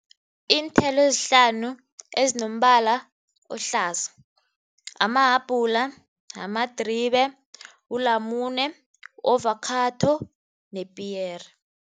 Iinthelo ezihlanu ezinombala ohlaza amahabhula, amadribe, ulamune, ovakhatho nepiyere.